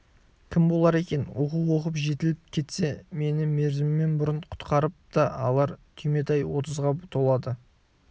кім болар екен оқу оқып жетіліп кетсе мені мерзімінен бұрын құтқарып та алар түйметай отызға толады